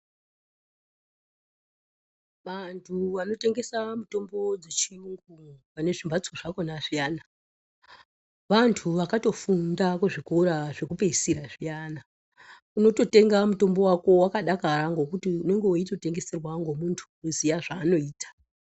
Vantu vanotengesa mitombo dzechiyungu pane zvimhatso zvakhona zviyani, vantu vakatofunda kuzvikora zvekupeisira zviyana. Unototenga mutombo wako wakadakara ngokuti unonge weitotengeserwa ngemuntu unonge eiziya zvaanoita.